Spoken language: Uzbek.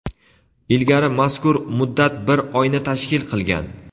Ilgari mazkur muddat bir oyni tashkil qilgan.